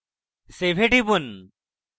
save এ টিপুন